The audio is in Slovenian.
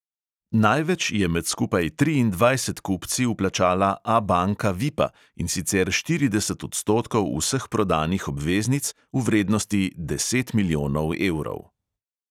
Največ je med skupaj triindvajset kupci vplačala abanka vipa, in sicer štirideset odstotkov vseh prodanih obveznic v vrednosti deset milijonov evrov.